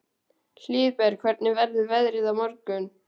Hlíðberg, hvernig verður veðrið á morgun?